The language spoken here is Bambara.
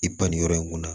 I ban nin yɔrɔ in kunna